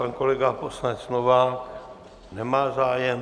Pan kolega poslanec Novák nemá zájem.